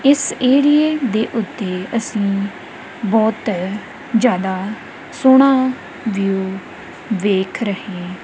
ਇਸ ਏਰੀਏ ਦੇ ਉੱਤੇ ਅਸੀਂ ਬਹੁਤ ਜਿਆਦਾ ਸੋਹਣਾ ਵਿਊ ਵੇਖ ਰਹੇ--